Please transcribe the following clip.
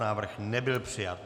Návrh nebyl přijat.